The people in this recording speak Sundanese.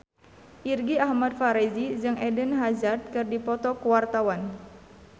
Irgi Ahmad Fahrezi jeung Eden Hazard keur dipoto ku wartawan